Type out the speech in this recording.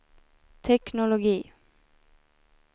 teknologi